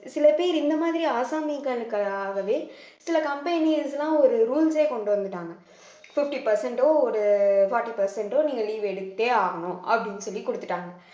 சில பேர் இந்த மாதிரி ஆசாமிகளுக்காகவே சில companies எல்லாம் ஒரு rules ஏ கொண்டு வந்துட்டாங்க fifty percent ஓ ஒரு forty percent ஓ நீங்க leave எடுத்தே ஆகணும் அப்படின்னு சொல்லி கொடுத்துட்டாங்க